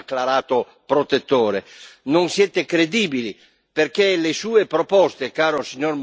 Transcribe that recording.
Non siete credibili perché le sue proposte, caro signor Moscovici, sono fuffa.